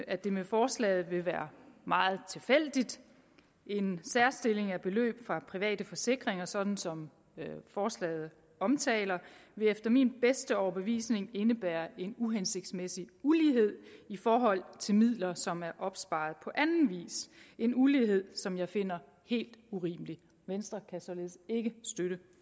at det med forslaget vil være meget tilfældigt en særstilling af beløb fra private forsikringer sådan som forslaget omtaler vil efter min bedste overbevisning indebære en uhensigtsmæssig ulighed i forhold til midler som er opsparet på anden vis en ulighed som jeg finder helt urimelig venstre kan således ikke støtte